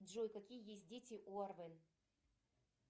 джой какие есть дети у арвен